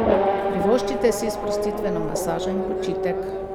Privoščite si sprostitveno masažo in počitek.